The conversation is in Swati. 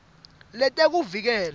letekuvikela